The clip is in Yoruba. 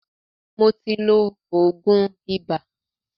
Mó tí ló oògùn ibà.